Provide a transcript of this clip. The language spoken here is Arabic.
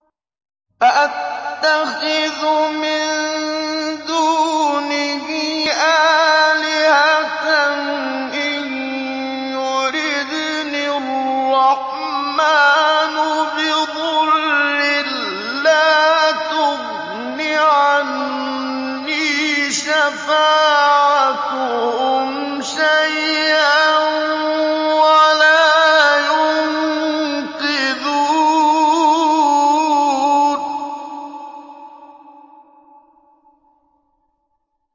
أَأَتَّخِذُ مِن دُونِهِ آلِهَةً إِن يُرِدْنِ الرَّحْمَٰنُ بِضُرٍّ لَّا تُغْنِ عَنِّي شَفَاعَتُهُمْ شَيْئًا وَلَا يُنقِذُونِ